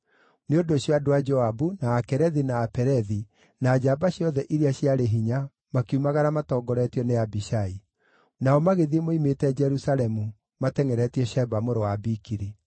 Nĩ ũndũ ũcio andũ a Joabu, na Akerethi, na Apelethi, na njamba ciothe iria ciarĩ hinya makiumagara matongoretio nĩ Abishai. Nao magĩthiĩ moimĩte Jerusalemu, matengʼeretie Sheba mũrũ wa Bikiri.